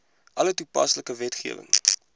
alle toepaslike wetgewing